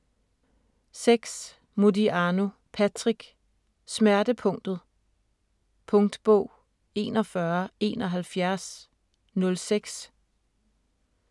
6. Modiano, Patrick: Smertepunktet Punktbog 417106